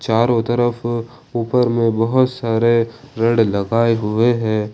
चारों तरफ ऊपर में बहुत सारे रॉड लगाए हुए हैं।